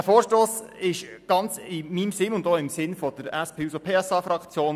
Dieser Vorstoss ist ganz in meinem Sinne und auch im Sinne der SP-JUSO-PSA-Fraktion.